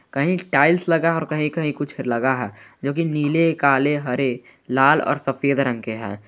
कही टाइल्स लगा है और कही कही कुछ लगा है जोकि नीले काले हरे लाल और सफेद रंग के है।